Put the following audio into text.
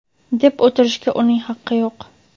deb o‘tirishga uning haqqi yo‘q.